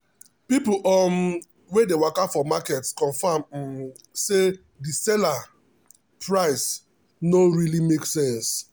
people um wey dey waka for market confirm um say the seller um price no really make sense.